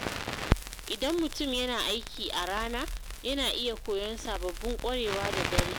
Idan mutum yana aiki a rana, yana iya koyon sababbin ƙwarewa da dare.